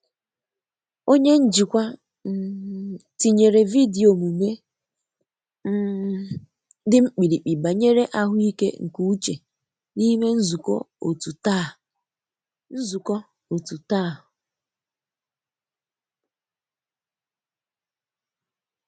Onye njikwa um tinyere vidiyo omume um di mkpirikpi banyere ahụike nke uche n'ime nzuko otu taa. nzuko otu taa.